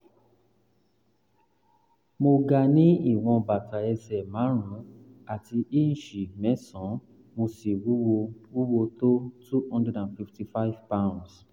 m ga ní ìwọ̀n bàtà ẹsẹ̀ márùn-ún àti ińṣíìsì mẹ́sàn-án mo sì wúwo wúwo tó 255 lbs